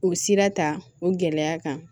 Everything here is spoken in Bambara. O sira ta o gɛlɛya kan